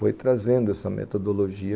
Foi trazendo essa metodologia.